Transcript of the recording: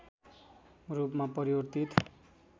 रूपमा परिवर्तित